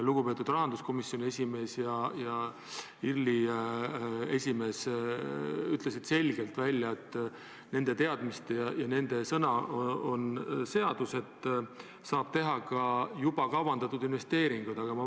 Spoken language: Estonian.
Lugupeetud rahanduskomisjoni esimees ja IRL-i esimees ütlesid selgelt välja, et nende teadmiste kohaselt – ja nende sõna on seadus – saab juba kavandatud investeeringud ära teha.